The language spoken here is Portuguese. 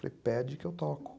Falei, pede que eu toco.